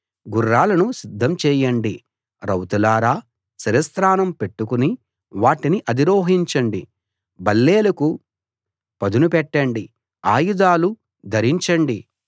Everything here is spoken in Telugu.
గుర్రాలను సిద్ధం చేయండి రౌతులారా శిరస్త్రాణం పెట్టుకుని వాటిని అధిరోహించండి బల్లేలకు పదును పెట్టండి ఆయుధాలు ధరించండి